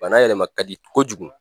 Bana yɛlɛma ka di kojugu.